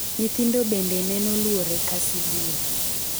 Nyithindo bende nenoluore ka sibuor.